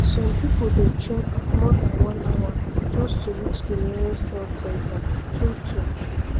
some people dey trek more than one hour just to reach the nearest health center truetrue